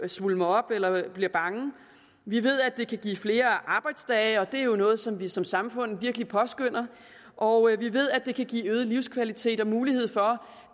svulmer op eller bliver bange vi ved at det kan give flere arbejdsdage og det er jo noget som vi som samfund virkelig påskønner og vi ved at det kan give øget livskvalitet og mulighed for